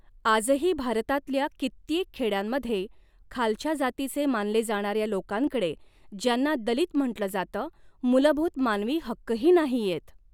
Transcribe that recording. आजही भारतातल्या कित्येक खॆड्यांमध्ये खालच्या जातीचे मानले जाणाऱ्या लोकांकडे ज्यांना दलित म्हटल जातं मुलभुत मानवी हक्कही नाहियेत.